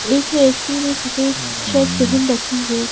एक व्यक्ति ने सफेद शर्ट पहन रखी है।